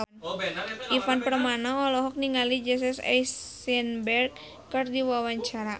Ivan Permana olohok ningali Jesse Eisenberg keur diwawancara